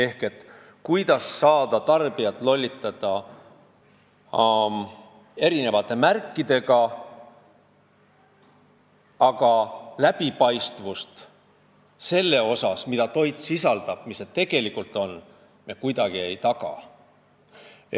Vaadatakse, kuidas saaks tarbijat erinevate märkidega lollitada, aga läbipaistvust, mida toit tegelikult sisaldab, me kuidagi ei taga.